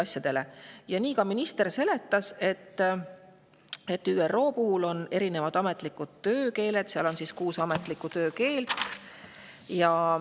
Nii seletas seda ka minister: ÜRO-l on erinevad ametlikud töökeeled, seal on kuus ametlikku töökeelt.